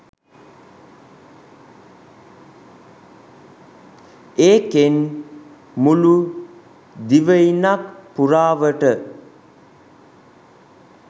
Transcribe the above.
ඒකෙන් මුලු දිවයිනක් පුරාවට